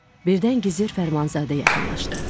Birdən gizir Fərmanzadə yaxınlaşdı.